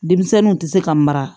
Denmisɛnninw tɛ se ka mara